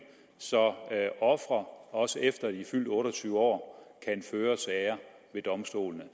så ofre også efter de er fyldt otte og tyve år kan føre sager ved domstolene